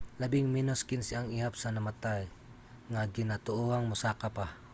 labing menos 15 ang ihap sa namatay nga ginatuohang mosaka pa